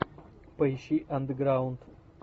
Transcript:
поищи андеграунд